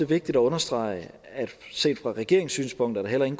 vigtigt at understrege set fra regeringens synspunkt at der heller ikke